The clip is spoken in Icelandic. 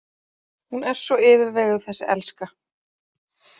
Hún er svo yfirveguð þessi elska.